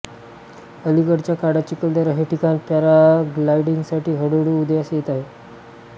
अलीकडच्या काळात चिखलदरा हे ठिकाण पॅराग्लायडिंगसाठी हळूहळू उदयास येत आहे